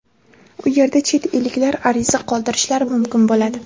u yerda chet elliklar ariza qoldirishlari mumkin bo‘ladi.